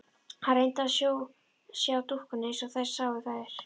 Hann reyndi að sjá dúkkuna eins og þeir sáu þær.